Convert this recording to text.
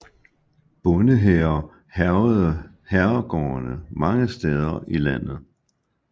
Bondehære hærgede herregårdene mange steder i landet